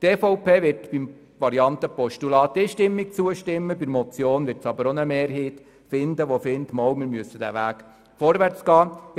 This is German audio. Die EVP wird der Variante Postulat einstimmig zustimmen, aber auch bei der Motion wird sich eine Mehrheit finden, die auf diesem Weg vorwärtsgehen möchte.